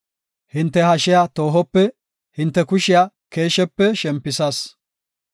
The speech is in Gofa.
“Hinte hashiya toohope, hinte kushiya keeshepe shempisas.